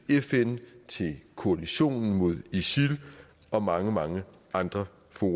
fn til koalitionen mod isil og mange mange andre fora